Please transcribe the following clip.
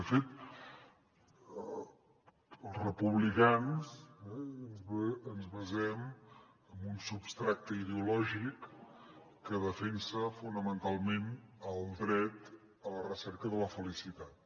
de fet els republicans ens basem en un substrat ideològic que defensa fonamentalment el dret a la recerca de la felicitat